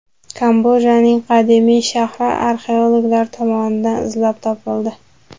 Kambojaning qadimiy shahri arxeologlar tomonidan izlab topildi.